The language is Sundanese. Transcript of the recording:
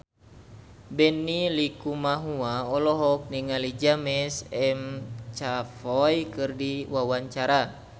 Benny Likumahua olohok ningali James McAvoy keur diwawancara